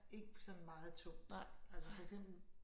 Ikke på sådan meget tungt altså for eksempel